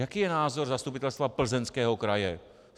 Jaký je názor Zastupitelstva Plzeňského kraje?